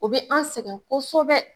O be an sɛgɛn kosɛbɛ